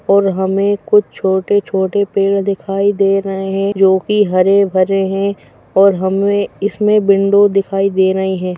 और हमें कुछ छोटे छोटे पेड़ दिखाई दे रहे हैं जो कि हरे भरे हैं और हमें इसमें विंडो दिखाई दे रहे हैं।